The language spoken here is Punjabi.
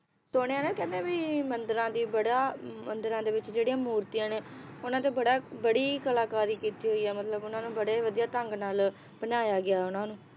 ਸੁਣਿਆ ਨਾ ਕਹਿੰਦੇ ਵੀ ਮੰਦਿਰਾਂ ਦੀ ਬੜਾ ਮੰਦਰਾਂ ਦੇ ਵਿਚ ਜਿਹੜੀਆਂ ਮੂਰਤੀਆਂ ਨੇ, ਉਹਨਾਂ ਤੇ ਬੜਾ ਬੜੀ ਕਲਾਕਾਰੀ ਕੀਤੀ ਹੋਈ ਏ ਮਤਲਬ ਉਹਨਾਂ ਨੂੰ ਬੜੇ ਵਧੀਆ ਢੰਗ ਨਾਲ ਬਣਾਇਆ ਗਿਆ ਉਹਨਾਂ ਨੂੰ